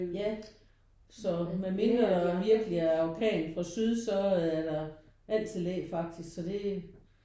Ja så med mindre der virkelig er orkan fra syd så er der altid læ faktisk så det